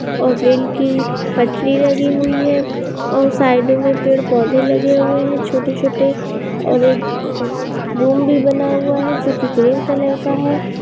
और रेल की पटरी लगी हुई है और साइडो में पेड़-पौधे लगे हुए है छोटे-छोटे और एक रूम भी बना हुआ है जो कि क्रीम कलर का है।